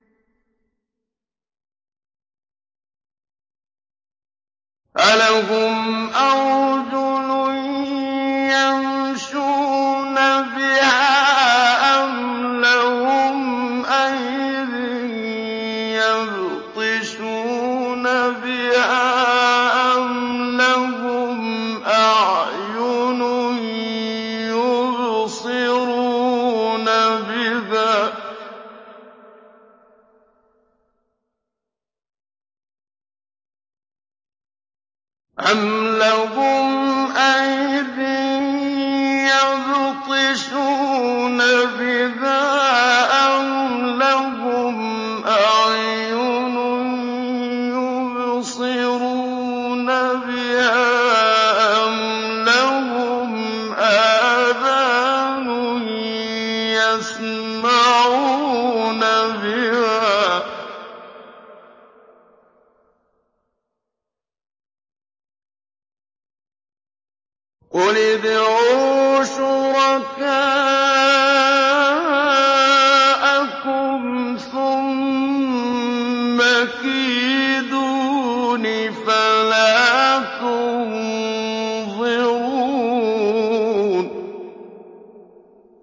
أَلَهُمْ أَرْجُلٌ يَمْشُونَ بِهَا ۖ أَمْ لَهُمْ أَيْدٍ يَبْطِشُونَ بِهَا ۖ أَمْ لَهُمْ أَعْيُنٌ يُبْصِرُونَ بِهَا ۖ أَمْ لَهُمْ آذَانٌ يَسْمَعُونَ بِهَا ۗ قُلِ ادْعُوا شُرَكَاءَكُمْ ثُمَّ كِيدُونِ فَلَا تُنظِرُونِ